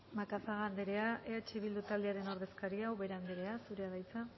macazaga anderea eh bildu taldearen ordezkaria ubera anderea zurea da hitza